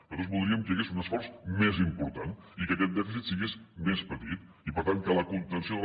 nosaltres voldríem que hi hagués un esforç més important i que aquest dèficit fos més petit i per tant que la contenció de la